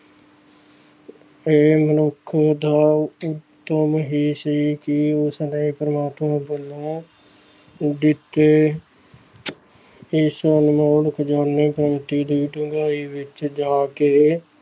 ਇਹ ਮਨੁੱਖ ਦਾ ਉਦਮ ਹੀ ਸੀ ਕਿ ਉਸਨੇ ਪ੍ਰਮਾਤਮਾ ਵੱਲੋਂ ਦਿੱਤੇ ਇਸ ਅਨਮੋਲ ਖ਼ਜਾਨੇ ਦੀ ਡੂੰਘਾਈ ਵਿੱਚ ਜਾ ਕੇ